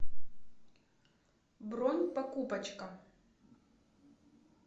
бронь покупочка